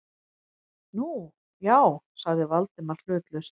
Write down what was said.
Nú, já- sagði Valdimar hlutlaust.